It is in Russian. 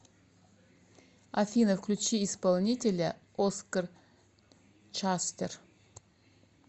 афина включи исполнителя оскар шустер